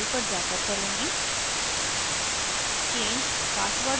मैं यह user profile पर जाकर करुँगी